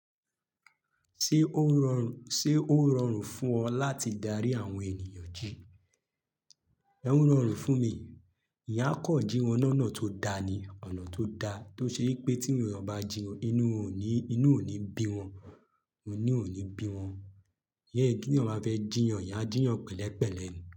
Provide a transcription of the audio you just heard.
Ṣé ó rọrùn fún ọ láti darí àwọn ènìyàn jí? Ọ́ rọrùn fún mi. Ìyá kọ jí wọn lọ́nà tó da ni, ọ̀nà tó da. Tó ṣe yipé tí ènìyàn bá jiyàn inú ò ní, inú ò ní bí wọn, inu ò ní bí wọn. Yẹ́ kí ènìyàn bá fẹ́ jìyàn, ìyá jìyàn pẹ̀lẹ́pẹ̀lẹ́ ni.